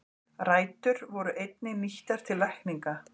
Rætur voru einnig nýttar til lækninga.